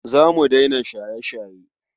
Za mu daina shaye-shaye.